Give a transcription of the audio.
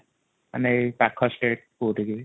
ମାନେ ଏଇ ପାଖ state କୋଉଠିକି ।